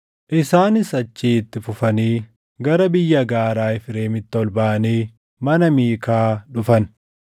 Isaanis achii itti fufanii gara biyya gaaraa Efreemitti ol baʼanii mana Miikaa dhufan.